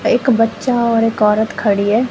एक बच्चा और एक औरत खड़ी है।